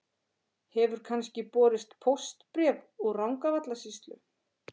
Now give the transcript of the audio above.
Hefur kannski borist póstbréf úr Rangárvallasýslu?